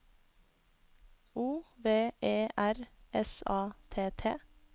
O V E R S A T T